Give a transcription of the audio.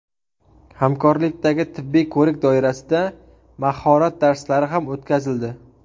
Hamkorlikdagi tibbiy ko‘rik doirasida mahorat darslari ham o‘tkazildi.